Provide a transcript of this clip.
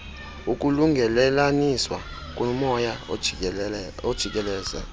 ukulungelelaniswa komoya ojikeleze